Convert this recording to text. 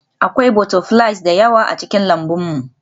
Akwai butterflies da yawa a cikin lambun mu